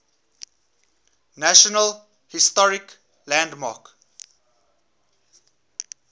national historic landmark